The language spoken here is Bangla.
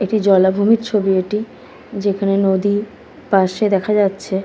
এটি জলাভূমির ছবি এটি যেখানে নদী পাশে দেখা যাচ্ছে।